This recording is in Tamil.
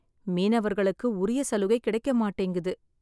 மீனவர்களுக்கு உரிய சலுகை கிடைக்க மாட்டேங்குது.